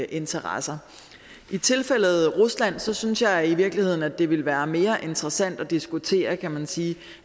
interesser i tilfældet rusland synes synes jeg i virkeligheden at det ville være mere interessant at diskutere kan man sige